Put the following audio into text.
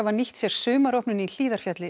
nýttu sér sumaropnun í Hlíðarfjalli